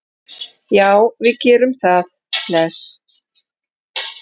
Já, við gerum það. Bless.